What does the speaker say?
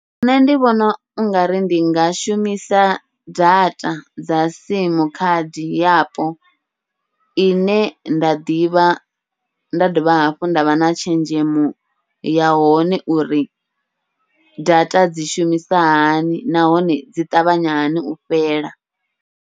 Nṋe ndi vhona ungari ndi nga shumisa data dza sim khadi yapo, ine nda ḓivha nda dovha hafhu ndavha na tshenzhemo ya hone uri data dzi shumisa hani, nahone dzi ṱavhanya hani u fhela.